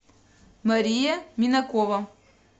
мария минакова